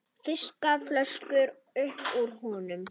Fiskar flösku upp úr honum.